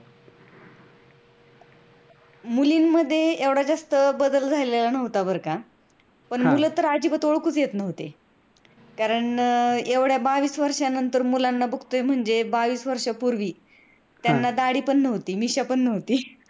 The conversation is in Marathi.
मुलींमध्ये एवढा जास्त काय जास्त बदल झाला नव्हता बर का पण मुल अजिबात ओळखूच येत नव्हते. कारण एवढ्या बावीस वर्ष्यानंतर मुलांना बघतोय म्हणजे बावीस वर्ष्यापुर्वी त्यांना दाढी पण नव्हती मिश्या पण नव्हती.